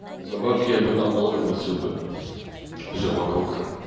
за бабки я бы там тоже месил бы все вокруг